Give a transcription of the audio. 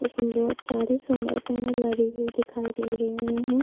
इसमें बहुत सारे सोलर पेनल लगे हुए दिखाई दे रही है।